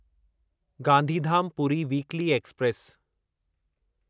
Gandhidham Puri weekly express